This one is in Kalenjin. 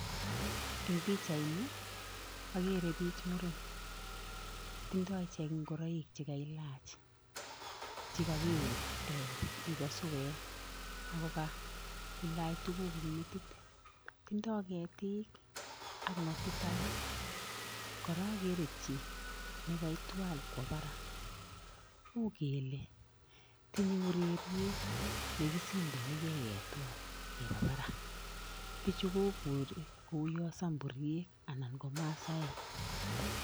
Eng pijaini ii akere bik che muren, tindo ichek ngoroik che ka ilach, che kakiwuu ee yubo suwet Ako kaa ilach tuguk eng metit, tindo ketik ak ngotit alak, kora akere jii ne kaitwal kwo Barak, ukele tinye ureriet nekisindone kei ketwal Keba Barak biju kobure ko uwon samburyek an ko masaek.